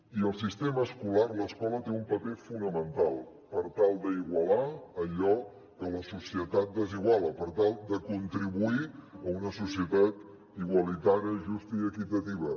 i el sistema escolar l’escola té un paper fonamental per tal d’igualar allò que la societat desiguala per tal de contribuir a una societat igualitària justa i equitativa